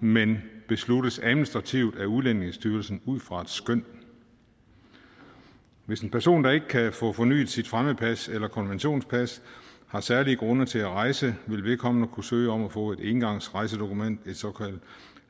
men besluttes administrativt at udlændingestyrelsen ud fra et skøn hvis en person der ikke kan få fornyet sit fremmedpas eller konventionspas har særlige grunde til at rejse vil vedkommende kunne søge om at få et engangsrejsedokument et såkaldt